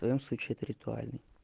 в твоём случае это ритуальный